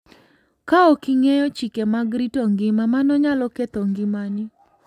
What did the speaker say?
Kaok ing'eyo chike mag rito ngima, mano nyalo ketho ngimani.